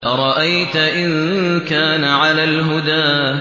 أَرَأَيْتَ إِن كَانَ عَلَى الْهُدَىٰ